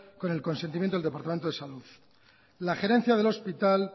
con el consentimiento del departamento de salud la gerencia del hospital